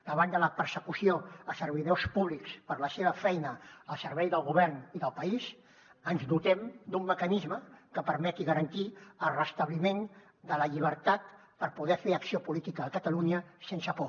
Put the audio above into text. davant de la persecució a servidors públics per la seva feina al servei del govern i del país ens dotem d’un mecanisme que permeti garantir el restabliment de la llibertat per poder fer acció política a catalunya sense por